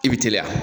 I bi teliya